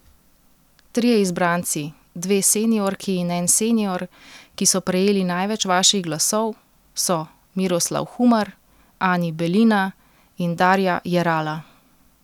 Trije izbranci, dve seniorki in en senior, ki so prejeli največ vaših glasov, so Miroslav Humar, Ani Belina in Darja Jerala.